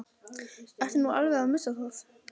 Ertu nú alveg að missa það?